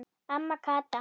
Amma Kata.